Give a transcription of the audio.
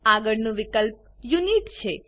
આગળનું વિકલ્પ યુનિટ છે